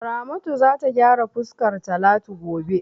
Ramatu za ta gyara fuskar Talatu gobe.